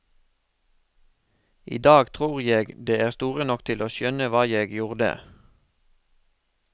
I dag tror jeg de er store nok til å skjønne hva jeg gjorde.